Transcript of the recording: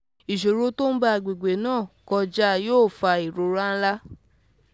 isan to n gba agbegbe na koja yoo fa irora nlà